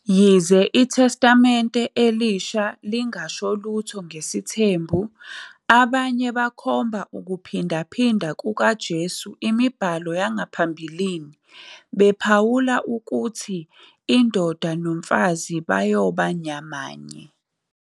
Yize iTestamente Elisha lingasho lutho ngesithembu, abanye bakhomba ukuphindaphinda kukaJesu imibhalo yangaphambilini, bephawula ukuthi indoda nomfazi "bayoba nyamanye".